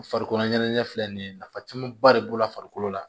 Farikolo ɲɛnajɛ filɛ nin ye nafa camanba de b'o la farikolo la